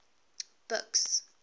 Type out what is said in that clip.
buks